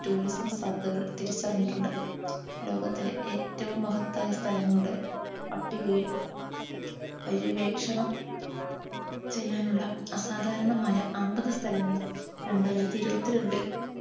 tourism സാധ്യതകൾ തിരിച്ചറിഞ്ഞിട്ടുണ്ട് ലോകത്തിലെ ഏറ്റവും മഹത്തായ സ്ഥലങ്ങളുടെ പട്ടികയിൽ പര്യവേക്ഷണം ചെയ്യാനുള്ള അസാധാരണമായ അമ്പത് സ്ഥലങ്ങളിൽ രണ്ടായിരത്തി ഇരുപത്തി രണ്ടിൽ